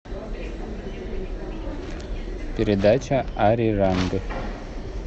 передача ариранг